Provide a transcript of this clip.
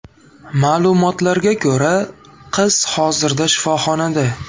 Ma’lumotlarga ko‘ra, qiz hozirda shifoxonada.